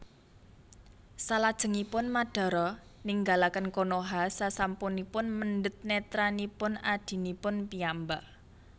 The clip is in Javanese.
Salajengipun Madara ninggalaken Konoha sasampunipun mendhet netranipun adhinipun piyambak